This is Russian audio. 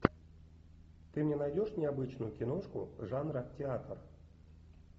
ты мне найдешь необычную киношку жанра театр